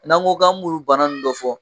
N'an ko k'an b'olu bana nn dɔ fɔ